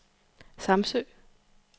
Samsø